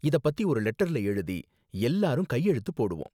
இத பத்தி ஒரு லெட்டர்ல எழுதி எல்லாரும் கையெழுத்து போடுவோம்.